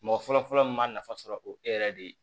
Mɔgɔ fɔlɔfɔlɔ min m'a nafa sɔrɔ o e yɛrɛ de ye